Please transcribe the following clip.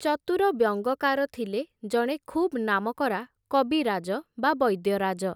ଚତୁର ବ୍ୟଙ୍ଗକାର ଥିଲେ ଜଣେ ଖୁବ୍ ନାମକରା କବିରାଜ ବା ବୈଦ୍ୟରାଜ ।